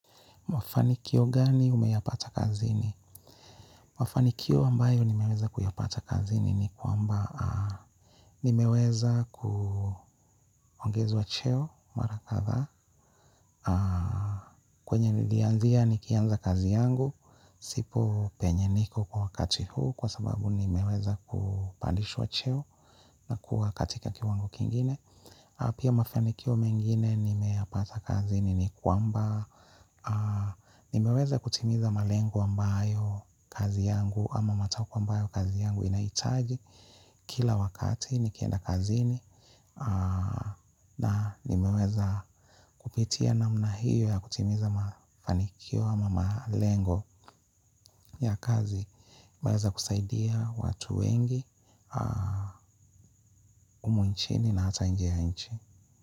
Mafanikio gani umeyapata kazini? Mafanikio ambayo nimeweza kuyapata kazini ni kwamba nimeweza kuongezwa cheo mara kadhaa. Kwenye nilianzia nikianza kazi yangu, sipo penye niko kwa wakati huu kwa sababu nimeweza kupandishwa cheo na kuwa katika kiwango kingine. Pia mafanikio mengine nimeyapata kazini ni kwamba nimeweza kutimiza malengo ambayo kazi yangu ama matakwa ambayo kazi yangu inahitaji. Kila wakati nikienda kazini na nimeweza kupitia namna hiyo ya kutimiza mafanikio ama malengo ya kazi. Nimeweza kusaidia watu wengi umu nchini na hata inje ya nchi.